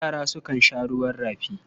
Yara sukan sha ruwan rafi.